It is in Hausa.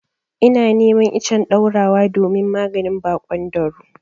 Ina neman icen ɗaurawa domin maganin baƙon dauro.